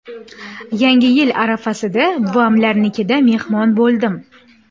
Yangi yil arafasida buvamlarnikida mehmon bo‘ldim.